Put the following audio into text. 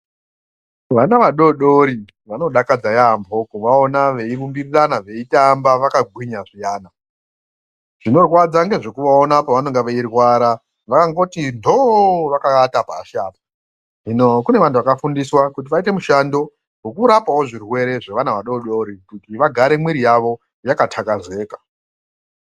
Vana vadoodori vanodakadza yaambo kuvaona veyitumbirirana veyitamba vakagwinya zviyana vinorwadza ngekuvaona pavanenge veyirwara vanongoti dhoo vakavata pashi apa hino kune vanhu vakafundiswa mushando wekurapawo zvirwere zvevana vadoodori vagare mivuri yavo yakatapuzeka.